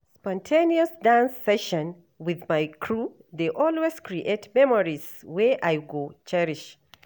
Spontaneous dance session with my crew dey always create memories wey I go cherish.